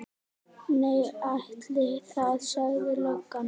Nei, ætli það, sagði löggan.